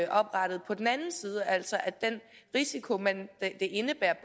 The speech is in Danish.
oprettet på den anden side altså at den risiko det indebærer